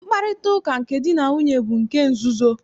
Mkparịtaụka nke di na nwunye bụ nke nzuzo.